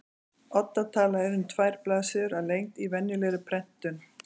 Odda tala er um tvær blaðsíður að lengd í venjulegri prentun.